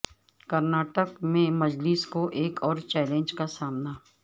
کرناٹک میں مجلس کو ایک اور چیلنج کا سامنا